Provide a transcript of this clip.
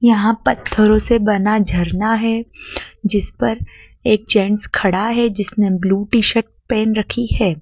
यहां पत्थरों से बना झरना हैं जिस पर एक जेट्स खड़ा है जिसने ब्लू टी-शर्ट पहन रखी है।